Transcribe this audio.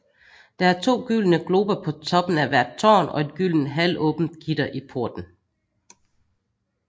Der er to gyldne glober på toppen af hvert tårn og et gyldent halvåbent gitter i porten